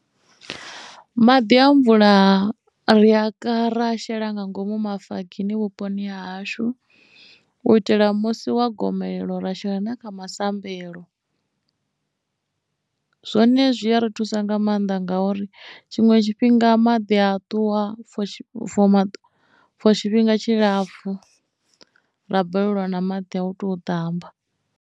Maḓi a mvula ri a ka ra a shela nga ngomu mafogini vhuponi ha hashu u itela musi wa gomelelo ra shela na kha masambelo zwone zwi a ri thusa nga maanḓa ngauri tshiṅwe tshifhinga maḓi a ṱuwa for tshifhinga tshilapfhu ra balelwa na maḓi a u tou ṱamba.